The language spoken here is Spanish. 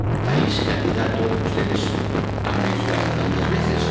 de país candidato que ustedes han mencionado tantas veces.